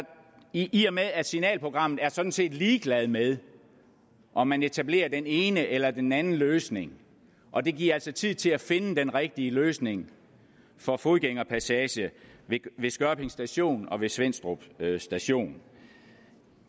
i og med at signalprogrammet sådan set er ligeglad med om man etablerer den ene eller den anden løsning og det giver altså tid til at finde den rigtige løsning for fodgængerpassage ved skørping station og ved svenstrup station